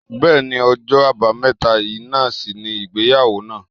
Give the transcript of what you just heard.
Bẹẹni, ọjọ́ àbámẹ́ta yìí náà sì ni ìgbéyàwó naa